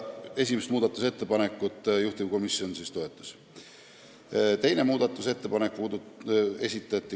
Seda muudatusettepanekut juhtivkomisjon toetas.